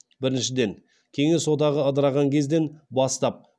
біріншіден кеңес одағы ыдыраған кезден бастап